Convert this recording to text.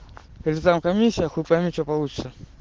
если там комиссия хуй пойми что получится